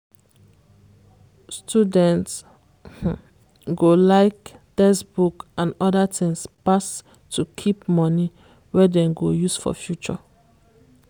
student go like textbook and other tins pass to keep money wey dem go use for future.